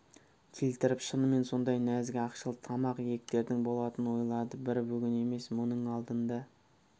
келтіріп шынымен сондай нәзік ақшыл тамақ иектердің болатынын ойлады бір бүгін емес мұның алдында да